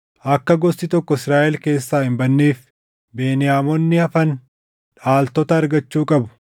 Akka gosti tokko Israaʼel keessaa hin badneef Beniyaamonni hafan dhaaltota argachuu qabu.